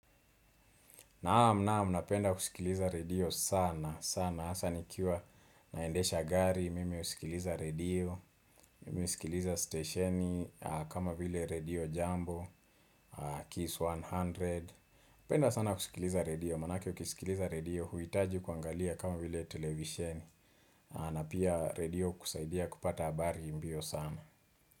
Naam naam napenda kusikiliza radio sana sana hasa nikiwa naendesha gari mimi husikiliza radio Mimi husikiliza stesheni kama vile radio jambo kiss 100 penda sana kusikiliza radio Maanake ukisikiliza radio huitaji kuangalia kama vile televisheni na pia radio hukusaidia kupata habari mbio sana.